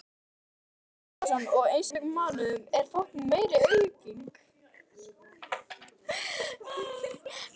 Björn Þorláksson: Og í einstökum mánuðum enn meiri aukning?